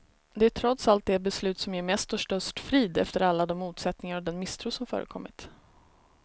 Det är trots allt det beslut som ger mest och störst frid, efter alla de motsättningar och den misstro som förekommit.